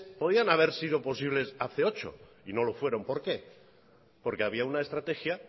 podían haber sido posible hace ocho y no lo fueron por qué porque había una estrategia